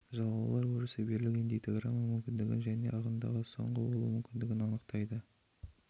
жалаулар өрісі берілген дейтаграмма мүмкіндігін және ағымдағы соңғы болуы мүмкіндігін анықтайды